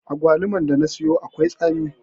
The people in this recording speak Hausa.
Agwaluman da na siyo akwai tsami.